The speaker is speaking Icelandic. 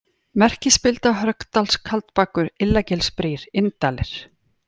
Merkispilda, Hörgsdalskaldbakur, Illagilsbrýr, Inndalir